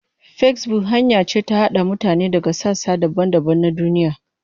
Facebook hanya ce ta haɗa mutane daga sassa daban-daban na duniya.